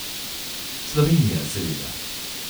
Slovenija, seveda.